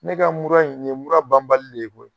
Ne ka mura in nin ye mura banbali de ye koyi